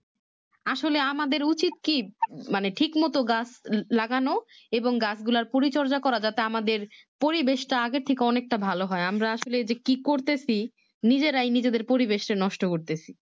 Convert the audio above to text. আসলে আমাদের উচিত কি মানে ঠিক মতো গাছ লাগনো এবং গাছগুলোর পরিচর্যা করা যাতে আমাদের পরিবেশটা আগে থেকে অনেকটা ভালো হয় আমরা আসলে যে কি করতেছি নিজেরাই নিজেদের পরিবেশটা নষ্ট করতেছি